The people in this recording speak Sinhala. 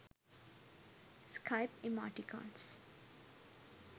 skype emoticons